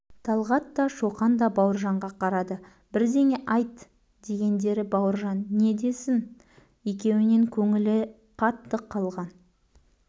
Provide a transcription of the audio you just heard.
талғат та шоқан да бауыржанға қарады бірдеңе айт дегендері бауыржан не десін екеуінен көңілі қатты қалған